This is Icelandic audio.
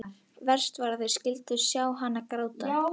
Verst var að þeir skyldu sjá hann gráta.